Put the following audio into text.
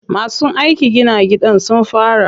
Masu aikin gina gidan sun fara.